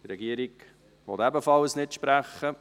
Die Regierung will ebenfalls nicht sprechen.